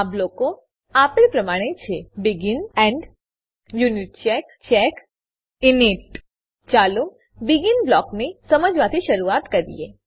આ બ્લોકો આપેલ પ્રમાણે છે begin begin end end unitcheck unitcheck check check init init ચાલો બેગિન બ્લોકને સમજવાથી શરૂઆત કરીએ